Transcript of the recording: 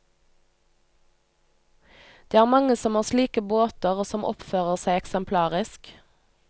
Det er mange som har slike båter og som oppfører seg eksemplarisk.